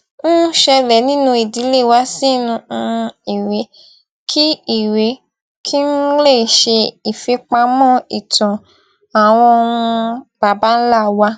ń ṣẹlè nínú ìdílé wa sínú um ìwé kí ìwé kí n lè ṣe ìfipamọ ìtàn àwọn um baba ńlá wa